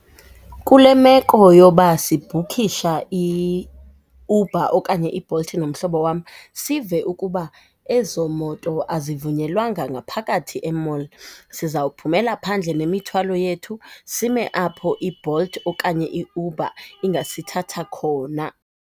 Kule meko yoba sibhukisha iUber okanye iBolt nomhlobo wam sive ukuba ezo moto azivunyelwanga ngaphakathi e-mall, sizawuphumela phandle nemithwalo yethu sime apho iBolt okanye iUber ingasithatha khona.